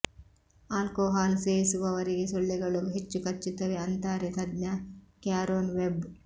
alcohol ಸೇವಿಸುವವರಿಗೆ ಸೊಳ್ಳೆಗಳು ಹೆಚ್ಚು ಕಚ್ಚುತ್ತವೆ ಅಂತಾರೆ ತಜ್ಞ ಕ್ಯಾರೋನ್ ವೆಬ್